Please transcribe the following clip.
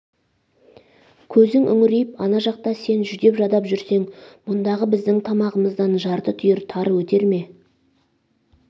көзің үңірейіп ана жақта сен жүдеп-жадап жүрсең мұндағы біздің тамағымыздан жарты түйір тары өтер ме